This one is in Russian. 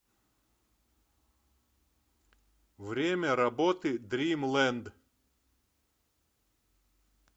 время работы дримленд